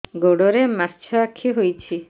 ଗୋଡ଼ରେ ମାଛଆଖି ହୋଇଛି